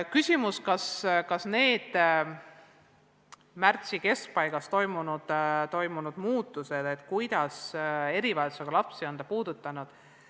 Kas ja kuidas need märtsi keskpaigas tehtud muudatused on erivajadustega lapsi puudutanud?